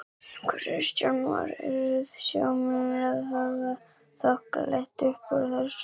Kristján Már: Eru sjómennirnir að hafa þokkalegt uppúr þessu?